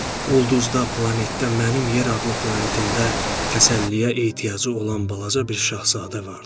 Ulduzda, planetdə, mənim yer adlı planetimdə təsəlliyə ehtiyacı olan balaca bir şahzadə vardı.